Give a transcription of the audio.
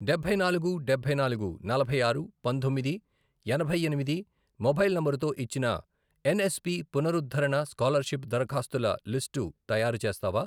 డబ్బై నాలుగు, డబ్బై నాలుగు, నలభై ఆరు, పంతొమ్మిది, ఎనభై ఎనిమిది, మొబైల్ నంబరుతో ఇచ్చిన ఎన్ఎస్పి పునరుద్ధరణ స్కాలర్షిప్ దరఖాస్తుల లిస్టు తయారు చేస్తావా?